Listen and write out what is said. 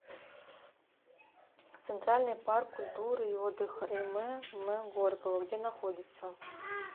центральный парк культуры и отдыха им м горького где находится